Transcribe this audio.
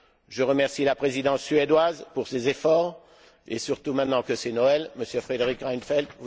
Je remercie la Présidence suédoise pour ses efforts et surtout, maintenant que c'est Noël, M. Fredrik Reinfeldt.